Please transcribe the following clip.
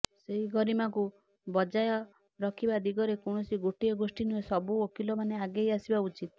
ସେହି ଗରିମାକୁ ବଜାୟ ରଖିବା ଦିଗରେ କୌଣସି ଗୋଟିଏ ଗୋଷ୍ଠୀ ନୁହେଁ ସବୁ ଓକିଲମାନେ ଆଗେଇ ଆସିବା ଉଚିତ୍